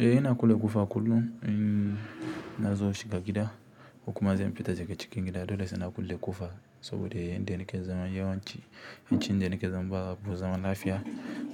Eh ina kulle ƙofa kullum in zan shiga gida ko kuma zan fita daga cikin gida dole sai na kulle ƙofa saboda lokacin dani zaune yawanci inda nike zaune babu zaman lafiya